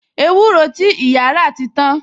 Ewúro ti ìyá rà ti tan